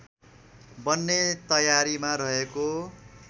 बन्ने तयारीमा रहेको